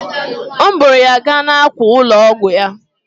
M buuru ya gaa n'àkwà ụlọ ọgwụ ya.